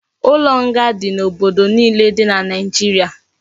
Ulo nga di na obodo niile di na naijiria